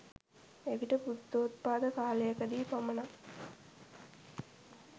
එවිට බුද්ධොත්පාද කාලයකදී පමණක්